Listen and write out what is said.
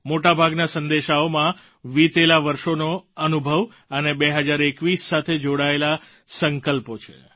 મોટાભાગના સંદેશાઓમાં વિતેલા વર્ષોનો અનુભવ અને 2021 સાથે જોડાયેલા સંકલ્પો છે